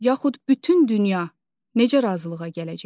Yaxud bütün dünya necə razılığa gələcək?